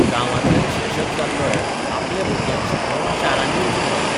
गांवांतल्यान शिक्षक जाल्लोय आपल्या भुरग्यांक शिकोवंक शारांनी वचून रावता.